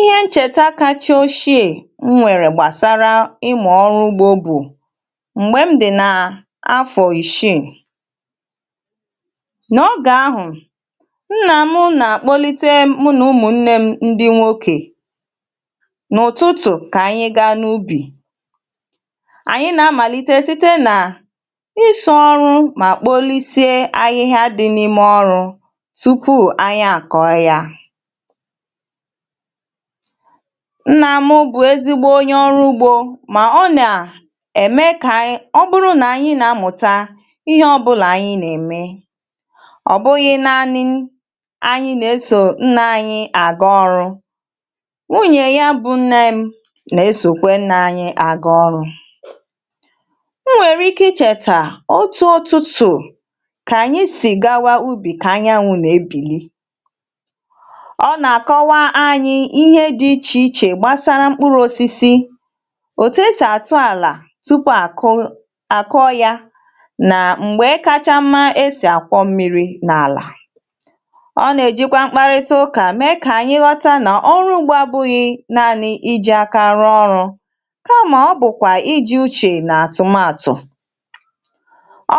Ihe ncheta kacha oshie m nwere gbasara ịmụ ọrụ ugbo bụ, m̀gbe m dị na afọ ìshi nogà ahụ̀, nnà m nà-àkpọlite mụ nà ụmụ̀ nne m ndị nwokė n’ụtụtụ kà anyị gaa n’ubì. Anyị na-amàlite site nà ịsọ ọrụ mà kpòolisie ahịhịa dị n’ime ọrụ tupu anyị akọ̀ ya. Nna mụ bụ̀ ezigbo onye ọrụ ugbȯ mà ọ nà-ème kà anyị ọ bụrụ nà anyị̇ na-amụ̀ta ihe ọbụlà anyị̇ nà-eme. ọỌ bụghị̇ naanị̇ anyị̇ nà-esò nna anyị̇ àgà ọrụ, wụnyè ya bụ̇ nne m nà-esòkwe nnà anyị̇ àgà ọrụ. O nwèrè ike ichètà otu ụtụtụ̀ kà ànyị sì gawa ubì kà anyanwụ̇ nà-ebìli. Ọ na-akọwanyị ihe dị ichè ichè gbasara mkpụrụ̇ osisi, òtù esì àtụ àlà tupu à kụ a kụọ ya nà m̀gbè kacha mma e sì àkwọ mmiri n’àlà. Ọ nà-èjikwa mkparịta ụkà mée kà ànyị ghọta nà orụ ugbȧ bụghị naanị̇ iji̇ akȧrụ ọrụ̇, kamà ọ bụ̀kwà iji̇ uchè nà àtụmatụ.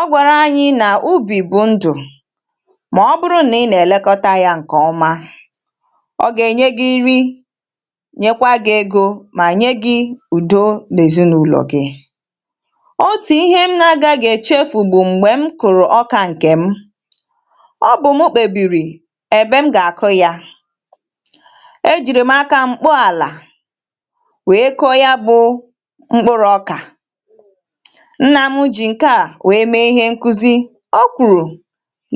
Ọ gwàrà anyị nà ubì bụ̀ ndụ̀ mà ọ bụrụ nà ị nà-èlekọta ya ǹkè ọma. Ọ ga-enye gị nri ma nyekwa gị̇ egȯ mà nye gị̇ udo nèzinaụ̀lọ̀ gị. Otù ihe m na-agȧgị èchefù bụ̀ m̀gbè m kụ̀rụ̀ ọkà ǹkè m, ọbụ̀ mụ kpèbìrì èbe m gà-àkụ yȧ. Ejìrì m aka m kpọ àlà wèe kụọ ya bụ mkpụrụ̇ ọkà. Nnà mụjì ǹkè a wèe mee ihe nkụzi. O kwùrù,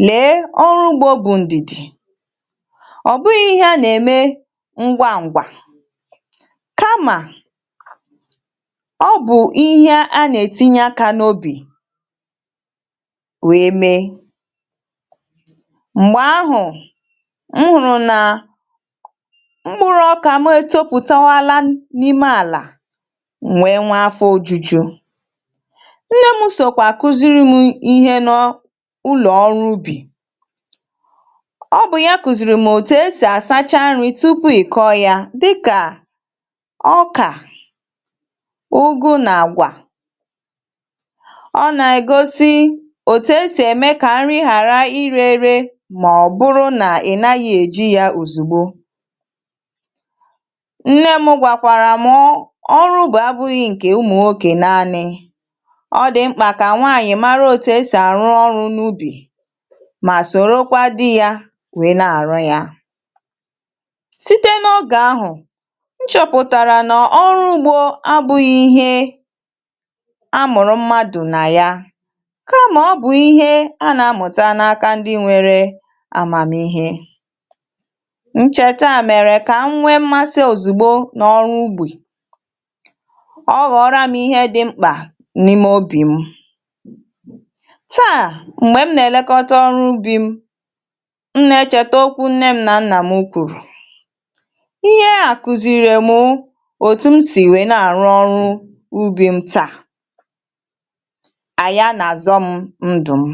lèe, ọrụ ugbȯ bụ̀ ndìdì, ọ bụ̀ghị ihe a nà-ème ngwangwa, kama, ọ bụ ihe a na-etinye akȧ n’obi wèe mee. M̀gbè ahụ̀, m hụrụ nà ọkà ma e tọpụ̀tawaala n’ime àlà, m wee nwee afọ̇ ojuju. Nne mụsokwà akụziri m ihe nọ n’ulọ̀ ọrụ ubì, ọ bụ̀ ya kụ̀ziìrì m òtù e sì asacha nri tupu ị kọọ ya dịka ọkà, ụgụ nà àgwà. Ọ nà-ègosi òtù esì ème kà nri hàra irė erė mà ọ̀bụrụ nà ị̀ naghị èji yȧ òzùgbo. Nne mụ gwàkwàrà mọ ọrụ ubi abụghị ǹkè ụmụ̀ nwoke naanị, ọ dị mkpà kà nwaanyị̀ mara òtù esì àrụ ọrụ n’ubì mà sòrokwa di yȧ wee na àrụ yȧ. Site nogahụ, mchọ̀pụ̀tàrà nà ọrụ ugbȯ abụ̇ghị̇ ihe a mụ̀rụ̀ mmadụ̀ nà ya kamà ọ bụ̀ ihe a nà-amụ̀ta n’aka ndị nwere amàmihe. Nchèta a mèrè kà m nwe mmasị òzùgbo n’ọrụ ugbi, ọghọ̇ọrȧ m ihe dị mkpà n’ime ubì m. Taà, m̀gbè m nà-elekọta ọrụ ubi m, m nà-echèta okwu nne m nà nnà mụkwuru. Ihe a kụziiri mụ otum si wee n'arụ ọrụ ubi m taa, aya na-azọ m ndụ m.